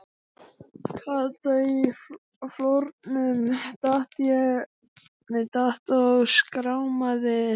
Kata í flórnum, datt og skrámaði sig.